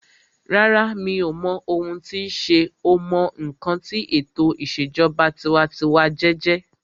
Rárá, mi ò mọ ohun tí sé o mọ ǹkan tí ètò ìṣèjọba tinwatinwa jẹjẹ́